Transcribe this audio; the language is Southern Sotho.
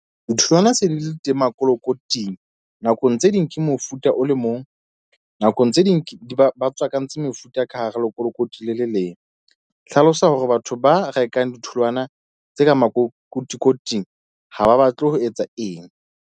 Ditholwana se di le teng makolokoting. Nakong tse ding ke mofuta o le mong. Nakong tse ding ke di ba tswakantse mefuta ka hara lekolokoti le le leng. Hlalosa hore batho ba rekang ditholwana tse ka makotikoting ha ba batle ho etsa eng.